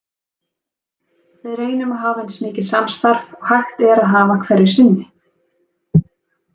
Við reynum að hafa eins mikið samstarf og hægt er að hafa hverju sinni.